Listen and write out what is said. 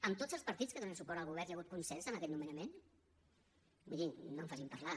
amb tots els partits que donen suport al govern hi ha hagut consens en aquest nomenament mirin no em facin parlar